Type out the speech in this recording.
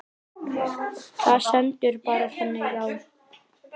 Það stendur bara þannig á.